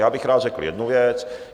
Já bych rád řekl jednu věc.